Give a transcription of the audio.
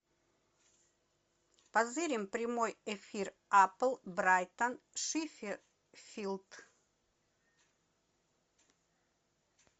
позырим прямой эфир апл брайтон шеффилд